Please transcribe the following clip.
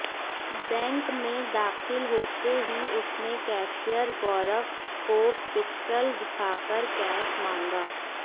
bank में दाखिल होते ही उसने कैशियर गौरव को पिस्टल दिखाकर कैश मांगा